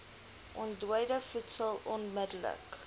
ontdooide voedsel onmidddelik